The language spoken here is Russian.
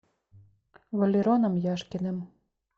валероном яшкиным